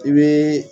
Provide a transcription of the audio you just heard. I bɛ